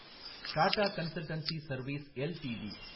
Tata consultancy service LTD